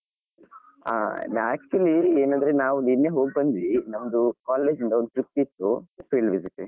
ಆ ನಾ actually ಏನಂದ್ರೆ ನಾವು ನಿನ್ನೆ ಹೋಗಿ ಬಂದ್ವಿ ನಮ್ದು college ಇಂದ ಒಂದು trip ಇತ್ತು field visiting.